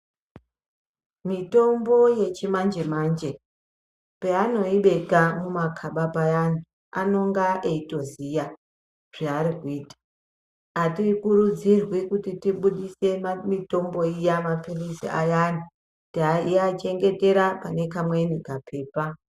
Mitombo yechimanje manje paanoibeka mumakaba payani anonga eitoziya zvaarikuita atikurudzirwi kuti tibudise mitombo iya mapirizi ayana teachengetera pane kamweni kapepa.